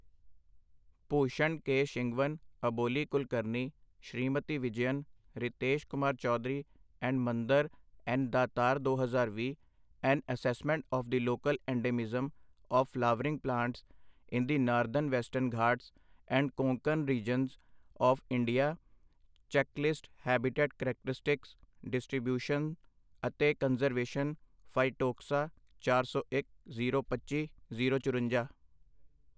Bhushan K Shingwan Aboli Kulkarni, Smriti Vijayan, Ritesh Kumar Choudhary and Mandar N Datar ਦੋ ਹਜ਼ਾਰ ਵੀਹ, an assessment of the local endemism of flowering plants in the northern western Ghats and Konkan regions of India, checklist, habitat characteristics, distribution ਅਤੇ conservation, phytotaxa, ਚਾਰ ਸੌ ਇਕ, zero ਪੱਚੀ, zero ਚੁਰੰਜਾ